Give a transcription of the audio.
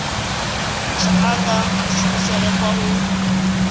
tsha anga kushumele kwa u